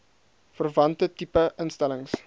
verwante tipe instellings